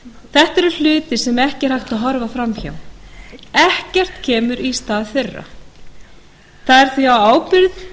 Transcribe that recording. þetta eru hlutir sem ekki er hægt að horfa fram hjá ekkert kemur í stað þeirra það er því á ábyrgð